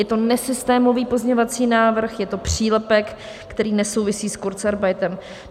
Je to nesystémový pozměňovací návrh, je to přílepek, který nesouvisí s kurzarbeitem.